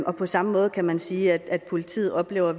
og på samme måde kan man sige at politiet oplever